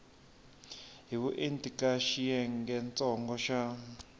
hi vuenti eka xiyengentsongo xa